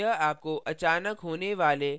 यह आपको अचानक होने वाले power कट से बचाएगा